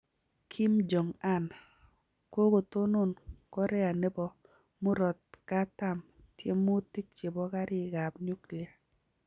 Kim Jong Un: Kokotonon Korea nebo murogatam tyemutik chebo karik ab nuklia